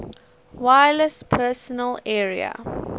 wireless personal area